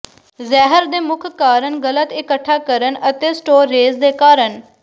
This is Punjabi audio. ਜ਼ਹਿਰ ਦੇ ਮੁੱਖ ਕਾਰਨ ਗਲਤ ਇਕੱਠਾ ਕਰਨ ਅਤੇ ਸਟੋਰੇਜ਼ ਦੇ ਕਾਰਨ